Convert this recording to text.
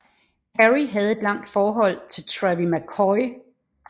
Perry havde et langt forhold til Travie McCoy